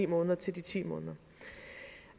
måneder til de ti måneder